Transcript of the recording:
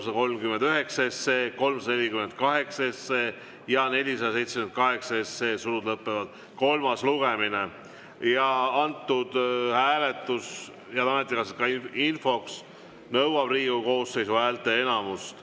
Ja infoks, head ametikaaslased, see hääletus nõuab Riigikogu koosseisu häälteenamust.